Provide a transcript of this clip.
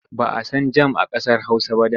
Ba a san jam a ƙasar Hausa ba da.